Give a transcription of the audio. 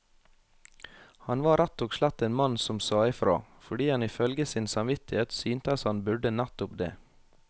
Han var rett og slett en mann som sa ifra, fordi han ifølge sin samvittighet syntes han burde nettopp det.